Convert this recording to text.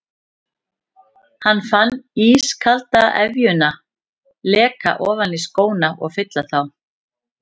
Hann fann ískalda efjuna leka ofan í skóna og fylla þá.